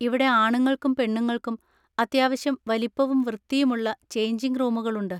ഇവിടെ ആണുങ്ങൾക്കും പെണ്ണുങ്ങൾക്കും അത്യാവശ്യം വലിപ്പവും വൃത്തിയുമുള്ള ചേഞ്ചിങ് റൂമുകളുണ്ട്.